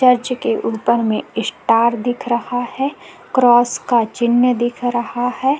Church के ऊपर में स्टार दिख रहा है क्रॉस का चिन्ह दिख रहा हैं।